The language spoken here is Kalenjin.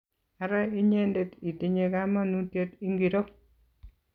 ara inyendet itinye kamanutiet ingiro?